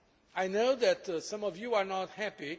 I know that some of you are not happy.